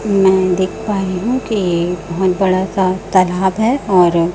मैं देख पा रही हूं कि बहोत बड़ा सा तालाब है और--